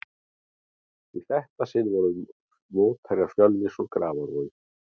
Í þetta sinn voru mótherjarnir Fjölnir úr Grafarvogi.